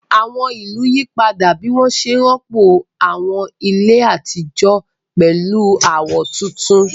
Àwọn ìlú yí padà bí wọ́n ṣe rọ́pò àwọn ilé àtijọ́ pẹ̀lú àwọn tuntun.